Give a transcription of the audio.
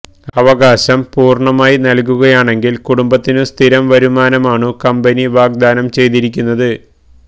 അവകാശം പൂര്ണമായി നല്കുകയാണെങ്കില് കുടുംബത്തിനു സ്ഥിരം വരുമാനമാണു കമ്പനി വാഗ്ദാനം ചെയ്തിരിക്കുന്നത്